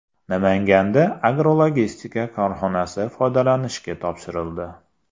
Namanganda agrologistika korxonasi foydalanishga topshirildi .